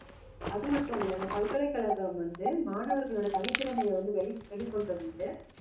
அது மட்டும் இல்ல இந்த பல்கலைக்கழகம் வந்து மாணவர்களோட தனித்திறமையை வந்து வெளி~ வெளிக்கொண்டு வந்து